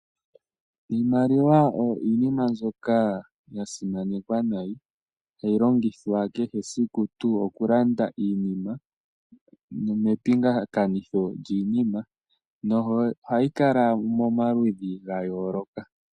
Iimaliwa oyo iinima mbyoka ya simanekwa unene. Ohayi longithwa kehesiku mokulanda iinima nepingakanitho lyiinima, yo ohayi kala momaludhi ga yoolokathana.